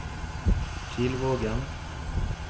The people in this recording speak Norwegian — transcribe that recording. Kilvågen